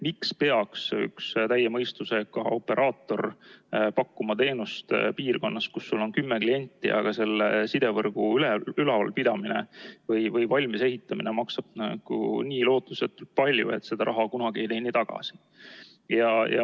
Miks peaks üks täie mõistusega operaator pakkuma teenust piirkonnas, kus sul on kümme klienti, aga selle sidevõrgu valmis ehitamine ja ülalpidamine maksab nii lootusetult palju, et seda raha ei teeni kunagi tagasi?